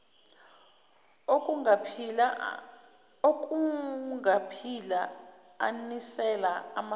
okungaphila anisela amasimu